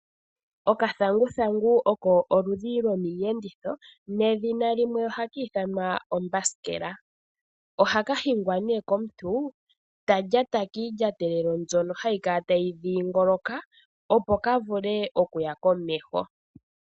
Okathanguthangu oko oludhi lomiiyenditho nedhina limwe ohaka ithanwa ombasikela. Ohaka hingwa komuntu ta lyata kiilyatelo mbyono hayi kala tayi dhingoloka opo kavule okuya komeho.